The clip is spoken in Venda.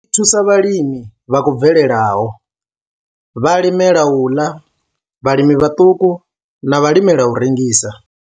I thusa vhalimi vha khou bvelelaho, vhalimela u ḽa, vhalimi vhaṱuku na vhalimela u rengisa.